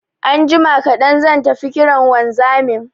Anjima kaɗan zan tafi kiran wanzamin